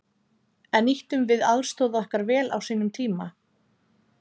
En nýttum við aðstoð okkar vel á sínum tíma?